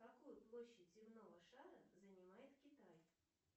какую площадь земного шара занимает китай